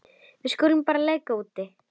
Við skulum bara leika úti.